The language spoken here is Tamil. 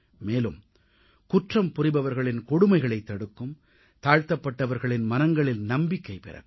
மேலும் குற்றம் புரிபவர்களின் கொடுமைகளைத் தடுக்கும் தாழ்த்தப்பட்டவர்களின் மனங்களில் நம்பிக்கை பிறக்கும்